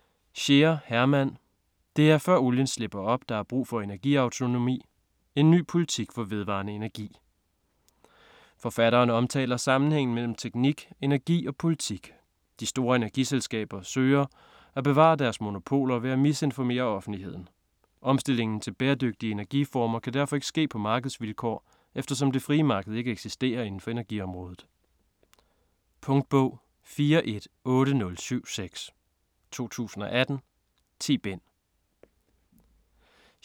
Scheer, Hermann: Det er før olien slipper op, der er brug for energiautonomi: en ny politik for vedvarende energi Forfatteren omtaler sammenhængen mellem teknik, energi og politik. De store energiselskaber søger, at bevare deres monopoler ved at misinformere offentligheden. Omstillingen til bæredygtige energiformer kan derfor ikke ske på markedsvilkår, eftersom det frie marked ikke eksisterer indenfor energiområdet. Punktbog 418076 2018. 10 bind.